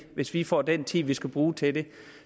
hvis vi får den tid vi skal bruge til det